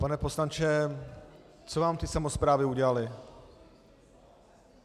Pane poslanče, co vám ty samosprávy udělaly?